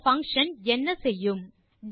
இந்த பங்ஷன் என்ன செய்யும்